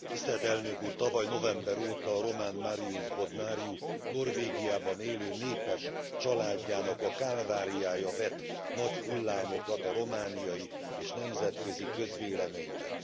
Elnök Úr, tavaly november óta a román Marius Bodnariu Norvégiában élő népes családjának a kálváriája vet nagy hullámokat a romániai és nemzetközi közvéleményben.